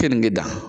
Keninge da